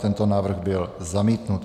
Tento návrh byl zamítnut.